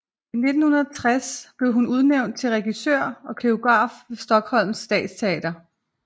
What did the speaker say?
I 1960 blev hun udnævnt til regissør og koreograf ved Stockholms stadsteater